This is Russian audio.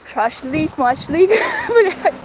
шашлык-машлык ха бля